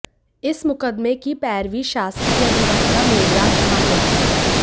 इस मुकदमें की पैरवी शासकीय अधिवक्ता मेघराज चौहान ने की